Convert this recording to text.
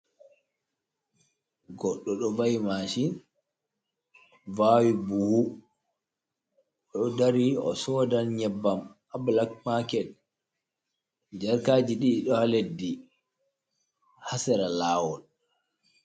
Goɗɗo ɗo va''i maacin, vaawi buhu, o ɗo dari o soodan nyebbam, haa bulak maaket. Jarkaaji ɗiɗi ɗo haa leddi, haa sera laawol.